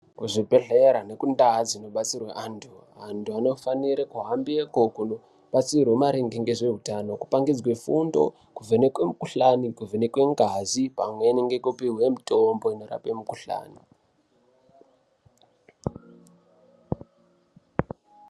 Muzvibhehlera nekundaa dzinobatsirwe antu, antu anofanire kuhambeko kunobatsirwe maringe ngezvehutano kupangidzwe fundo kuvhenekwe mukuhlani, kuvhenekwe ngazi pamweni ngekupihwe mutombo inorape mukuhlani.